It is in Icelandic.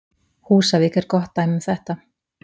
Húsavík er gott dæmi um þetta.